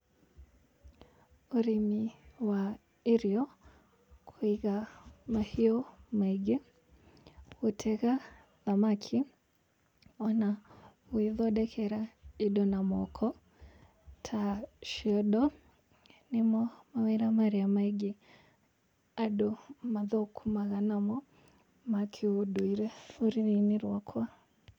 Ũrĩmi wa irio, kũiga mahiũ maingĩ, gũtega thamaki, ona gũĩthondekera indo na moko, ta ciondo, nĩmo mawĩra marĩa maingi andũ mathũkũmaga namo ma kĩũndũire rũrĩrĩ-inĩ rwakwa.